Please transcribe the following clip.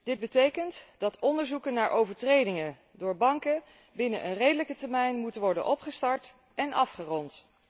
Dit betekent dat onderzoeken naar overtredingen door banken binnen een redelijke termijn moeten worden opgestart en afgerond.